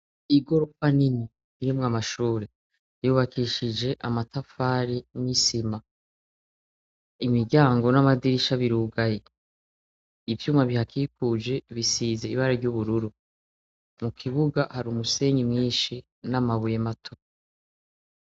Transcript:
Igorofa nini irimwo amashure yubakishije amatafari n' isima imiryango n' amadirisha birugaye ivyuma bihakikuje bisize ibara ry' ubururu mukibuga hari umusenyi mwinshi n' amabuye mato.